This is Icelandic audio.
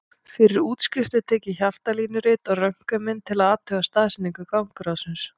Fyrir útskrift er tekið hjartalínurit og röntgenmynd til að athuga staðsetningu gangráðsins.